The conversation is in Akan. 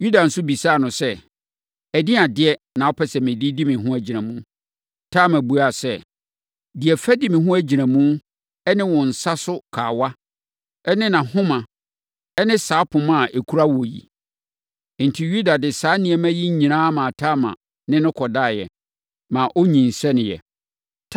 Yuda nso bisaa no sɛ, “Ɛdeɛn adeɛ na wopɛ sɛ mede di me ho agyinamu?” Tamar buaa sɛ, “Deɛ fa di wo ho agyinamu ne wo nsa so kawa ne nʼahoma ne saa poma a ɛkura wo yi.” Enti, Yuda de saa nneɛma yi nyinaa maa Tamar ne no kɔdaeɛ, ma ɔnyinsɛneeɛ.